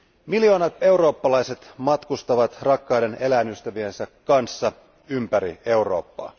Miljoonat eurooppalaiset matkustavat rakkaiden eläinystäviensä kanssa ympäri Eurooppaa.